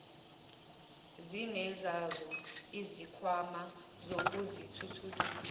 zinezazo izikhwama zokuzithuthukisa